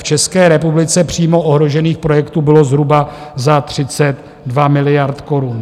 V České republice přímo ohrožených projektů bylo zhruba za 32 miliard korun.